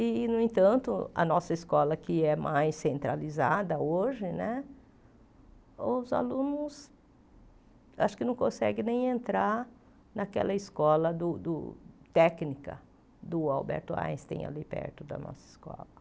E, no entanto, a nossa escola que é mais centralizada hoje né, os alunos acho que não conseguem nem entrar naquela escola do do técnica do Alberto Einstein ali perto da nossa escola.